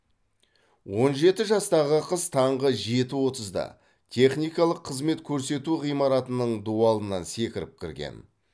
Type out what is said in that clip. он жеті жастағы қыз таңғы жеті отызда техникалық қызмет көрсету ғимаратының дуалынан секіріп кірген